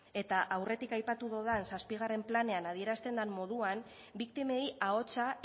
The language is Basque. eta aurretik aipatu dudan zazpigarren planean adierazten den moduan biktimei ahotsa